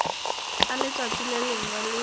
a letšatši le lengwe le